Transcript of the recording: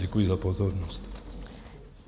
Děkuji za pozornost.